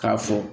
K'a fɔ